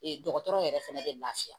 Ee dɔgɔtɔrɔ yɛrɛ fana bɛ lafiya